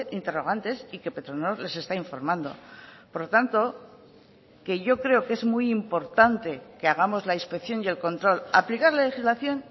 interrogantes y que petronor les está informando por lo tanto que yo creo que es muy importante que hagamos la inspección y el control aplicar la legislación